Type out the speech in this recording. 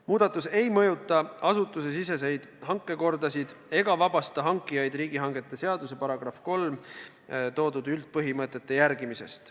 Muudatus ei mõjuta asutusesiseseid hankekordasid ega vabasta hankijaid riigihangete seaduse § 3 nimetatud üldpõhimõtete järgimisest.